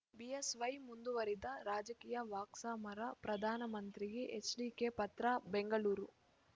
BSY ಮುಂದುವರಿದ ರಾಜಕೀಯ ವಾಕ್ಸಮರ ಪ್ರಧಾನಮಂತ್ರಿಗೆ ಎಚ್‌ಡಿಕೆ ಪತ್ರ ಬೆಂಗಳೂರು